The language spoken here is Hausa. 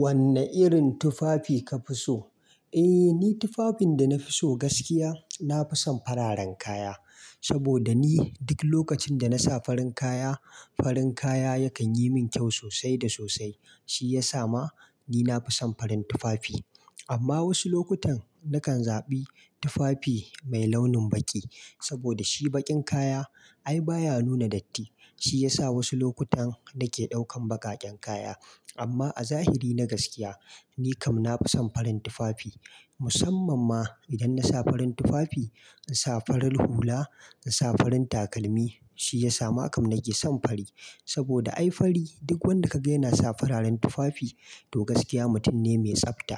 Wanne irin tufafi ka fi so? Eh, ni tufafin da na fi so gaskiya, na fi son fararen kaya. Saboda ni duk lokacin da na sa farin kaya, farin kaya yakan yi min kyau sosai da sosai. Shi ya sa ma ni na fi son farin tufafi. Amma wasu lokutan, na kan zaɓi tufafi mai launin baƙi. Saboda shi baƙin kaya ai baya nuna datti. Shi ya sa wasu lokutan na ke ɗaukan baƙaƙen kaya. Amma a zahiri na gaskiya, ni kam na fi son farin tufafi. Musamman ma idan na sa farin tufafi, in sa farar hula, in sa farin takalmi, shi ya sa ma kam nake son fari. Saboda ai fari duk wanda ka gani yana sa fararen tufafi, to gaskiya mutum ne mai tsafta